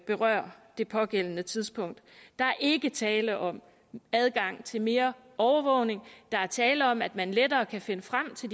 berører det pågældende tidspunkt der er ikke tale om adgang til mere overvågning der er tale om at man lettere kan finde frem til